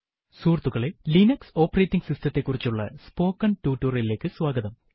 സുഹൃത്തുക്കളെ Linux operating system ത്തെ കുറിച്ചുള്ള സ്പോക്കെൻ ടുട്ടോറിയലിലേക്ക് സ്വാഗതം